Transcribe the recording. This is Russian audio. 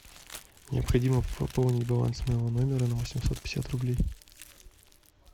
необходимо пополнить баланс моего номера на восемьсот пятьдесят рублей